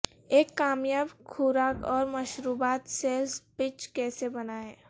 ایک کامیاب خوراک اور مشروبات سیلز پچ کیسے بنائیں